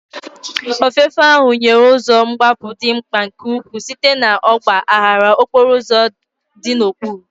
Ofefe ahụ nyere ụzọ mgbapụ dị mkpa nke ukwuu site na ọgba aghara okporo ụzọ dị n'okpuru.